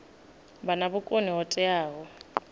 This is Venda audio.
vha na vhukoni ho teaho